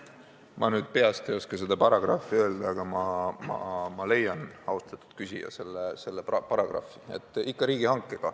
Ma nüüd peast ei oska seda paragrahvi öelda, aga ma leian selle, austatud küsija.